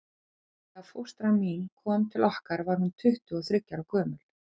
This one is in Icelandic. Þegar fóstra mín kom til okkar var hún tuttugu og þriggja ára gömul.